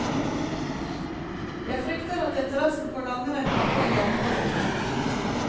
Jeg frykter at interessen for langrenn kan få en langvarig knekk.